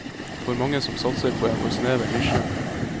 For mange som satser på en for snever nisje.